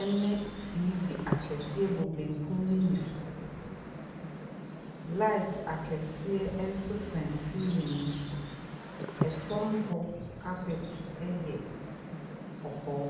ɛne TV kɛseɛ bɔ benkum ne nifa. Laet akɛseɛ nso sɛn seelen no so. Ɛfam hɔ kapɛt ɛyɛ kɔkɔɔ.